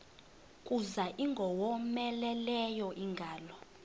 kuza ingowomeleleyo ingalo